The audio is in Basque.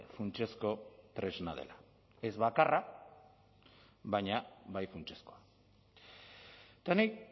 funtsezko tresna dela ez bakarra baina bai funtsezkoa eta nik